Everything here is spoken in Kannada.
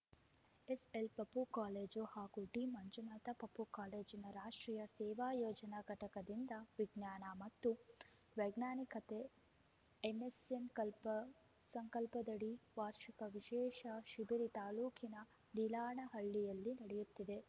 ಎಸ್‌ಎಲ್‌ ಪಪೂ ಕಾಲೇಜು ಹಾಗೂ ಡಿಮಂಜುನಾಥ ಪಪೂ ಕಾಲೇಜಿನ ರಾಷ್ಟ್ರೀಯ ಸೇವಾ ಯೋಜನಾ ಘಟಕದಿಂದ ವಿಜ್ಞಾನ ಮತ್ತು ವೈಜ್ಞಾನಿಕತೆ ಏನ್ಎಸ್ಎಂ ಸಂಕಲ್ಪದಡಿ ವಾರ್ಷಿಕ ವಿಶೇಷ ಶಿಬಿರ ತಾಲೂಕಿನ ನೀಲಾನಹಳ್ಳಿಯಲ್ಲಿ ನಡೆಯುತ್ತಿದೆ